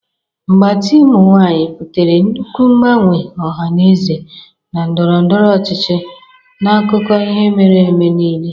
Mgbatị ụmụ nwanyị butere nnukwu mgbanwe ọha na eze na ndọrọ ndọrọ ọchịchị n'akụkọ ihe mere eme niile.